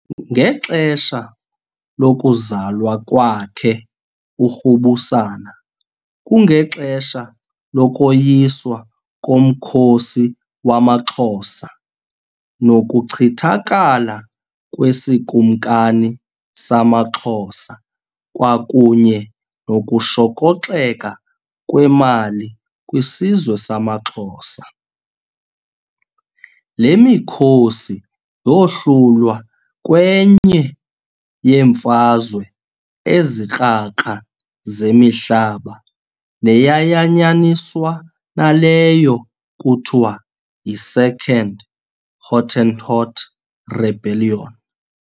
Ngexesha lokuzalwa kwakhe uRubusana kungexesha lokoyiswa komkhosi wamaXhosa nokuchithakala kwesiKumkani samaXhosa kwakunye nokushokoxeka kwemali kwisizwe samaXhosa. Le mikhosi yohlulwa kwenye yemfazwe ezikrakra zemihlaba neyayanyaniswa naleyo kuthiwa yi"Second Hottentot Rebellion".